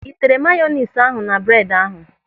Ị tere mayonis ahụ na bredi ahụ?